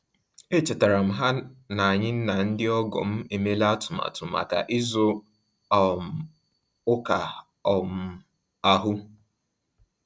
E chetara m ha na-anyị na ndị ọgọ m emela atụmatụ maka ịzụ um ụka um ahu